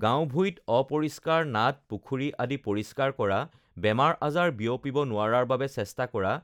গাঁও-ভূঁইত অপৰিষ্কাৰ নাদ, পুখুৰী আদি পৰিষ্কাৰ কৰা, বেমাৰ-আজাৰ বিয়পিব নোৱাৰাৰ বাবে চেষ্টা কৰা